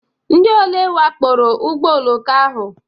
Ndị ole wakporo ụgbọ oloko ahụ?